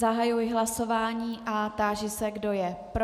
Zahajuji hlasování a táži se, kdo je pro.